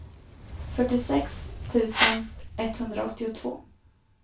fyrtiosex tusen etthundraåttiotvå